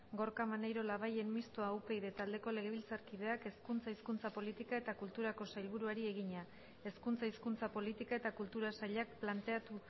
gorka maneiro labayen mistoa upyd taldeko legebiltzarkideak hezkuntza hizkuntza politika eta kulturako sailburuari egina hezkuntza hizkuntza politika eta kultura sailak planteatu